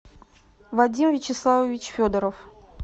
вадим вячеславович федоров